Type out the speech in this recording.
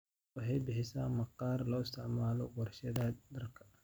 Lo'da lo'da waxay bixisaa maqaar loo isticmaalo warshadaha dharka.